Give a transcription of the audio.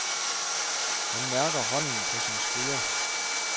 Han mærker hånden på sin skulder.